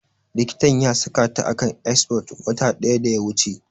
Likitan ya saka ta a kan exforge wata ɗaya da ya wuce